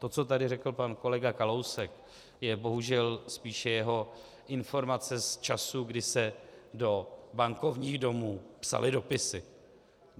To, co tady řekl pan kolega Kalousek, je bohužel spíše jeho informace z časů, kdy se do bankovních domů psaly dopisy.